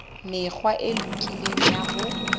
mekgwa e lokileng ya ho